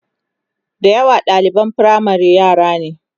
da yawa ɗaliban firamare yara ne